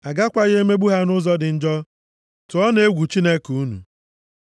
A gakwaghị emegbu ha nʼụzọ dị njọ. + 25:43 \+xt Ọpụ 1:13\+xt* Tụọnụ egwu Chineke unu.